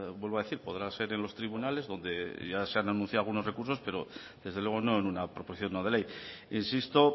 vuelvo a decir podrá ser en los tribunales donde ya se han anunciado algunos recursos pero desde luego no en una proposición no de ley insisto